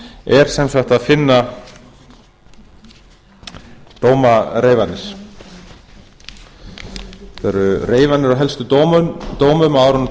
er sem sagt að finna dómareifanir þetta eru reifanir af helstu dómum á árunum